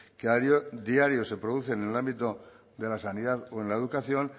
que a diario se producen en el ámbito de la sanidad o en la educación